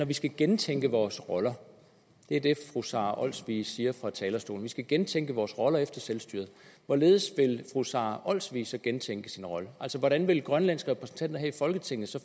vi skal gentænke vores roller det er det fru sara olsvig siger fra talerstolen skal gentænke vores roller efter selvstyret hvorledes vil fru sara olsvig så gentænke sin rolle hvordan vil de grønlandske repræsentanter her i folketinget så